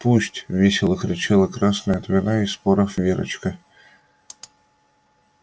пусть весело кричала красная от вина и споров верочка